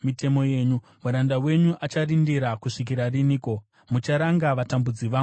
Muranda wenyu acharindira kusvikira riniko? Mucharanga vatambudzi vangu riniko?